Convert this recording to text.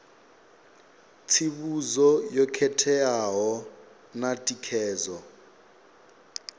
tsivhudzo yo khetheaho na thikedzo